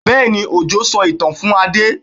Bẹ́ẹ̀ni, Òjó sọ ìtàn fún Adé?